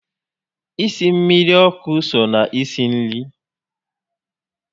Isi mmiri ọkụ so na isi nri